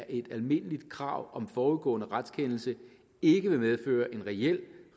et almindeligt krav om forudgående retskendelse ikke vil medføre en reel